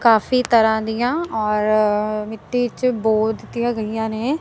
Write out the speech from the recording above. ਕਾਫੀ ਤਰ੍ਹਾਂ ਦੀਆਂ ਔਰ ਮਿੱਟੀ ਚ ਬੋਧ ਦੀਆਂ ਗਈਆਂ ਨੇ।